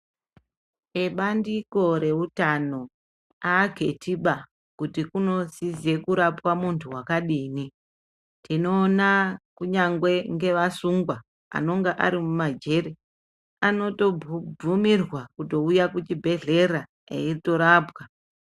Ebandiko reutano aakethiba kuti kunosise kurapwa muntu wakadini. Tinoona kunyangwe ngevasungwa anonga ari mumajere anotobvumirwa kutouya kuchibhedhlera eitorapwa.